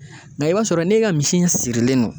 Nga i b'a sɔrɔ n'e ka misi in sirilen non